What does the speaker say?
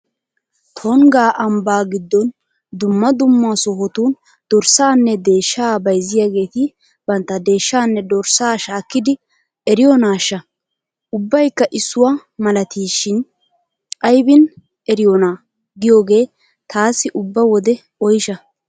Tungga ambbaa giddon dumma dumma sohotun dorssaanne deeshshaa bayzziyageeti bantta deeshshaanne dorssaa shaakkidi eriyonaashsha! Ubbaykka issuwa malateeshin aybin eriyonaa giyagee taassi ubba wode oysha!